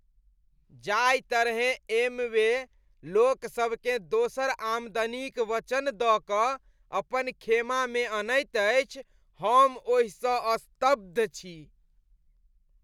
जाहि तरहेँ एमवे लोकसभकेँ दोसर आमदनीक वचन दऽ कऽ अपन खेमामे अनैत अछि, हम ओहिसँ स्तब्ध छी।